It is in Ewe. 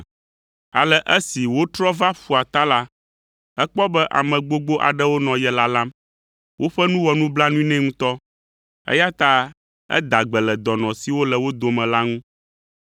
Ale esi wotrɔ va ƒua ta la, ekpɔ be ame gbogbo aɖewo nɔ ye lalam. Woƒe nu wɔ nublanui nɛ ŋutɔ, eya ta eda gbe le dɔnɔ siwo le wo dome la ŋu.